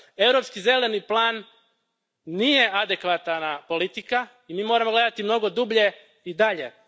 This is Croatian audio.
Europski zeleni plan nije adekvatna politika i mi moramo gledati mnogo dublje i dalje.